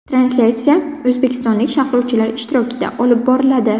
Translyatsiya o‘zbekistonlik sharhlovchilar ishtirokida olib boriladi.